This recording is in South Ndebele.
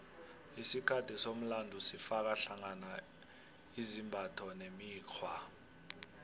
isikhathi somlando sifaka hlangana izimbatho nemikghwa